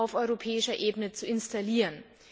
auf europäischer Ebene zu installieren.